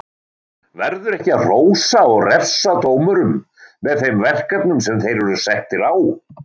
Verður ekki að hrósa og refsa dómurum með þeim verkefnum sem þeir eru settir á?